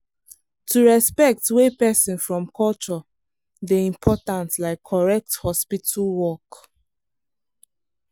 to respect wey person from culture dey important like correct hospital work.